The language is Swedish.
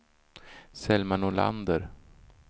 Selma Nordlander